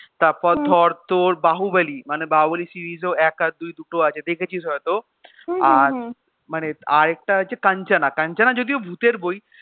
তারপর ধর তোর এই বাহুবলি series ও এক আর দুই দুটো আছে দেখেছিস হয়ত আর মানে আরেকটা আছে কাঞ্চনা. কাঞ্চনা যদিও ভুতের বই.